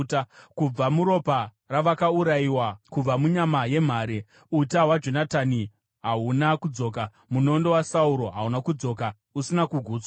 Kubva muropa ravakaurayiwa, kubva munyama yemhare, uta hwaJonatani hahuna kudzoka, munondo waSauro hauna kudzoka usina kugutswa.